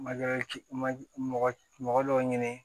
Ma ci ma mɔgɔ mɔgɔ dɔw ɲini